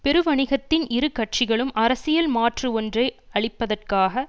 பெரு வணிகத்தின் இரு கட்சிகளும் அரசியல் மாற்று ஒன்றை அளிப்பதற்காக